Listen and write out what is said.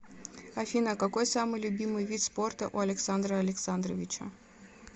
афина какой самый любимый вид спорта у александра александровича